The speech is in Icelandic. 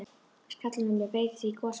Skallinn á mér breytist í gosbrunn.